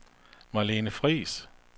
Marlene Friis